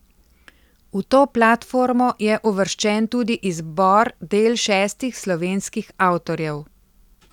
V to platformo je uvrščen tudi izbor del šestih slovenskih avtorjev.